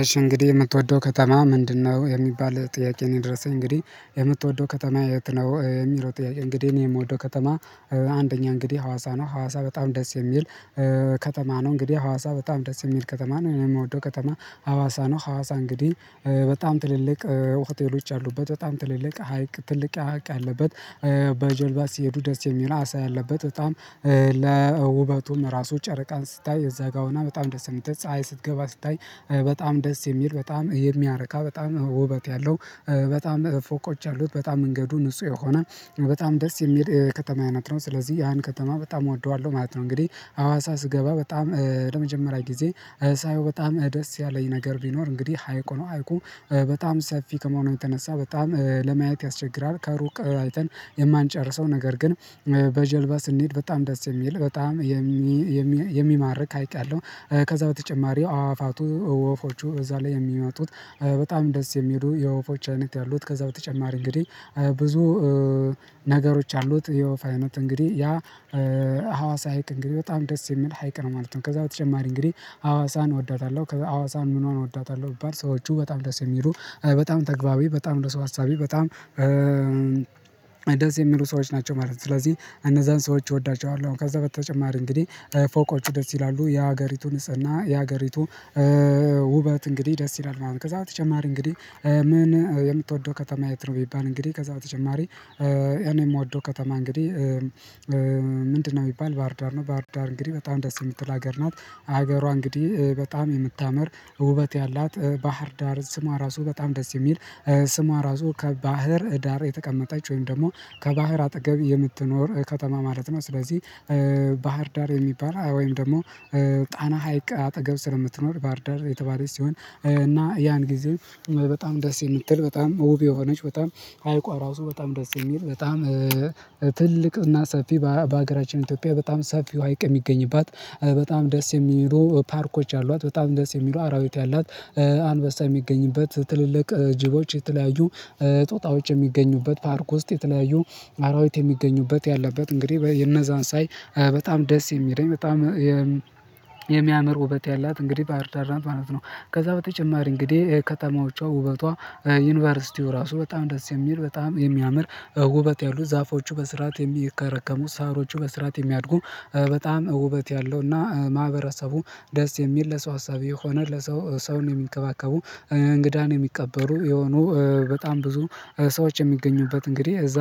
እሽ እንግዲህ የምትወደው ከተማ ምንድነው? የሚባል ጥያቄ ነው የደረሰኝ እንግዲህ የምትወደው ከተማ የት ነው የሚለው ጥያቄ? እንግዲህ እኔ የምወደው ከተማ። አንደኛ እንግዲህ ሀዋሳ። ነው ሀዋሳ በጣም ደስ የሚል ከተማ ነው የምወደው ከተማ። ሀዋሳ ነው ሀዋሳ እንግዲህ በጣም ትልልቅ ሆቴሎች አሉበት በጣም ትልልቅ ሀይቅ ትልቅ ሀይቅ ያለበት። በጀልባ ሲሄዱ ደስ የሚል አሳ ያለበት በጣም። ለውበቱም ራሱ ጨረቃን ስታይ እዛ ጋር ሆና በጣም ደስ የምትል ፀሀይ ስትገባ ስታይ። በጣም ደስ የሚል በጣም የሚያረካ በጣም ውበት ያለው በጣም ፎቆች ያሉት በጣም መንገዱ ንጹህ የሆነ በጣም ደስ የሚል ከተማ አይነት ነው። ስለዚህ ያን ከተማ በጣም እወደዋለሁ ማለት ነው። እንግዲህ አዋሳ ስገባ በጣም ለመጀመሪያ ጊዜ ሳየው በጣም ደስ ያለኝ ነገር ቢኖር እንግዲህ ሀይቁ ነው። ሀይቁ በጣም ሰፊ ከመሆኑ የተነሳ በጣም ለማየት ያስቸግራል ከሩቅ አይተን የማንጨርሰው ነገር ግን። በጀልባ ስንሄድ በጣም ደስ የሚል በጣም የሚማርክ ሀይቅ ያለው። ከዛ በተጨማሪው አዋፋቱ ወፎቹ እዛ ላይ የሚመጡት በጣም ደስ የሚሉ የወፎች አይነት ያሉት ከዛ በተጨማሪ እንግዲህ ብዙ ነገሮች አሉት። የወፍ አይነት እንግዲህ ያ ሀዋሳ ሀይቅ እንግዲህ በጣም ደስ የሚል ሀይቅ ነው ማለት ነው። ከዛ በተጨማሪ እንግዲህ ሀዋሳን እወዳታለሁ ከዛ ሀዋሳን ምኑን እወዳታለሁ ቢባል ሰዎቹ በጣም ደስ የሚሉ በጣም ተግባቢ በጣም ለሰው አሳቢ በጣም ደስ የሚሉ ሰዎች ናቸው ማለት ነው። ስለዚህ እነዛን ሰዎች እወዳቸዋለሁ። ከዛ በተጨማሪ እንግዲህ ፎቆቹ ደስ ይላሉ የሀገሪቱ ንጽህና እና የሀገሪቱ ውበት እንግዲህ ደስ ይላሉ። አሁን ከዛ በተጨማሪ እንግዲህ ምን የምትወደው ከተማ የት ነው? የሚባል እንግዲህ ከዛ በተጨማሪ እኔ የምወደው ከተማ እንግዲህ ምንድነው የሚባል ባህር ዳር ነው። ባህር ዳር እንግዲህ በጣም ደስ የምትል ሀገር ናት። ሀገሯ እንግዲህ በጣም የምታምር ውበት ያላት ባህር ዳር ስሟ ራሱ በጣም ደስ የሚል። ስሟ ራሱ ከባህር ዳር የተቀመጣች ወይም ደግሞ ከባህር አጠገብ የምትኖር ከተማ ማለት ነው። ስለዚህ ባህር ዳር የሚባል ወይም ደግሞ ጣና ሀይቅ አጠገብ ስለምትኖር ባህር ዳር የተባለች ሲሆን እና ያን ጊዜ በጣም ደስ የምትል። በጣም ትልቅ እና ሰፊ በሀገራችን ኢትዮጵያ በጣም ሰፊው ሀይቅ የሚገኝባት በጣም ደስ የሚሉ ፓርኮች አሏት። በጣም ደስ የሚሉ አራዊት ያላት። አንበሳ የሚገኝበት ትልልቅ ጅቦች የተለያዩ ጦጣዎች የሚገኙበት ፓርክ ውስጥ የተለያዩ አራዊት የሚገኙበት ያለበት እንግዲህ እነዛን ሳይ በጣም ደስ የሚለኝ በጣም የሚያምር ውበት ያላት እንግዲህ ባህር ዳር ናት ማለት ነው። ከዛ በተጨማሪ እንግዲህ ከተማዎቿ ውበቷ ዩኒቨርሲቲው ራሱ በጣም ደስ የሚል በጣም የሚያምር ውበት ያሉ ዛፎቹ በስርዓት የሚከረከሙ ሳሮቹ በስርዓት የሚያድጉ በጣም ውበት ያለው እና ማህበረሰቡ ደስ የሚል ለሰው አሳቢ የሆነ ለሰው ሰውን የሚንከባከቡ። እንግዳን የሚቀበሉ የሆኑ በጣም ብዙ ሰዎች የሚገኙበት እንግዲህ እዛ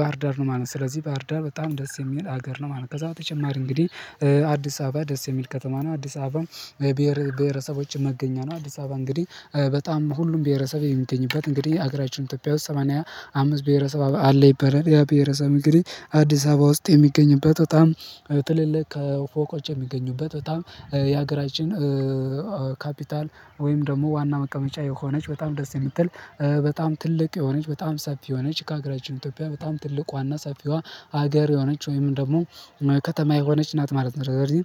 ባህርዳር ነው ማለት ነው። ስለዚህ ባህርዳር በጣም ደስ የሚል ሀገር ነው ማለት ነው። ከዛ በተጨማሪ እንግዲህ አዲስ አበባ ደስ የሚል ከተማ ነው። አዲስ አበባ ብሄረ ብሄረሰቦችን መገኛ ነው። አዲስ አበባ እንግዲህ በጣም ሁሉም ብሄረሰብ የሚገኝበት እንግዲህ ሀገራችን ኢትዮጵያ ውስጥ ሰማንያ አምስት ብሄረሰብ አለ። ይባላል ያ ብሄረሰብ እንግዲህ አዲስ አበባ ውስጥ የሚገኝበት በጣም ትልልቅ ከ ፎቆች የሚገኙበት። በጣም የሀገራችን ካፒታል ወይም ደግሞ ዋና መቀመጫ የሆነች በጣም ደስ የምትል በጣም ትልቅ የሆነች በጣም ሰፊ የሆነች ከሀገራችን ኢትዮጵያ በጣም ትልቅ ዋና ሰፊዋ ሀገር የሆነች ወይም ደግሞ ከተማ የሆነች ናት ማለት ነው። ስለዚህ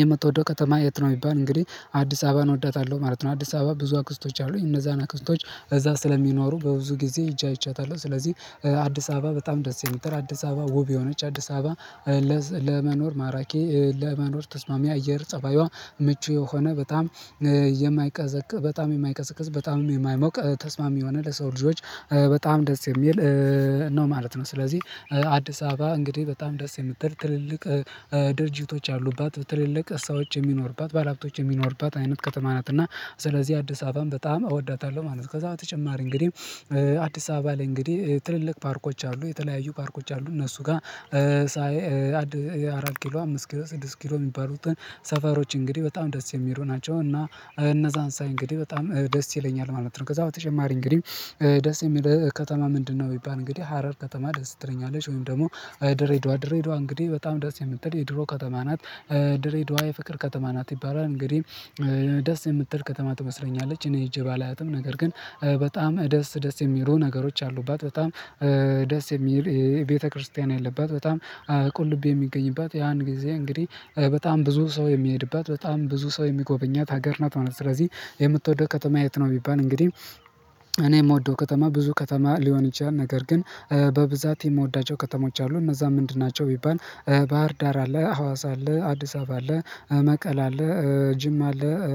የምትወደው ከተማ የት ነው? የሚባል እንግዲህ አዲስ አበባን እወዳታለሁ ማለት ነው። አዲስ አበባ ብዙ አክስቶች አሉኝ እነዛን አክስቶች እዛ ስለሚኖሩ በብዙ ጊዜ ሄጄ አይቻታለሁ። ስለዚህ አዲስ አበባ በጣም ደስ የምትል አዲስ አበባ ውብ የሆነች አዲስ አበባ። ለመኖር ማራኪ ለመኖር ተስማሚ አየር ጸባይዋ ምቹ የሆነ በጣም የማይቀዘቅዝ በጣም የማይቀዘቅዝ በጣም የማይሞቅ ተስማሚ የሆነ ለሰው ልጆች በጣም ደስ የሚል ነው ማለት ነው። ስለዚህ አዲስ አበባ እንግዲህ በጣም ደስ የምትል ትልልቅ ድርጅቶች አሉባት ትልልቅ እሳዎች የሚኖርባት ባለሀብቶች የሚኖርባት አይነት ከተማ ናት። እና ስለዚህ አዲስ አበባም በጣም እወዳታለሁ ማለት ነው። ከዛ በተጨማሪ እንግዲህ አዲስ አበባ ላይ እንግዲህ ትልልቅ ፓርኮች አሉ የተለያዩ ፓርኮች አሉ እነሱ ጋር። ሳይ አራት ኪሎ አምስት ኪሎ ስድስት ኪሎ የሚባሉትን ሰፈሮች እንግዲህ በጣም ደስ የሚሉ ናቸው። እና እነዛን ሳይ እንግዲህ በጣም ደስ ይለኛል ማለት ነው። ከዛ በተጨማሪ እንግዲህ ደስ የሚለው ከተማ ምንድነው? ቢባል እንግዲህ ሀረር ከተማ ደስ ትለኛለች ወይም ደግሞ ድሬዳዋ ድሬዳዋ እንግዲህ በጣም ደስ የምትል የድሮ ከተማ ናት። ድሬዳዋ የፍቅር ከተማ ናት ይባላል እንግዲህ ደስ የምትል ከተማ ትመስለኛለች። እኔ ሄጄ ባላያትም ነገር ግን በጣም ደስ ደስ የሚሉ ነገሮች አሉባት በጣም ደስ የሚል የቤተክርስቲያን የለባት። በጣም ቁልቢ የሚገኝባት ያን ጊዜ እንግዲህ በጣም ብዙ ሰው የሚሄድባት በጣም ብዙ ሰው የሚጎበኛት ሀገር ናት ማለት ነው። ስለዚህ የምትወደው ከተማ የት ነው? ቢባል እንግዲህ እኔ የምወደው ከተማ ብዙ ከተማ ሊሆን ይችላል ነገር ግን በብዛት የምወዳቸው ከተሞች አሉ። እነዛ ምንድን ናቸው? ቢባል ባህር ዳር አለ ሀዋሳ አለ አዲስ አበባ አለ መቀለ አለ ጅም አለ።